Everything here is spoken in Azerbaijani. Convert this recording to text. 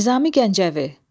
Nizami Gəncəvi.